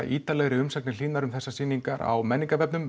ýtarlegri umsagnir Hlínar um þessar sýningar á